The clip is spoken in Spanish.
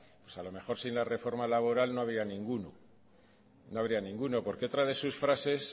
a lo mejor sin la reforma laboral no había ninguno no habría ninguno porque otra de sus frases